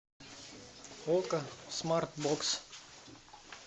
окко смарт бокс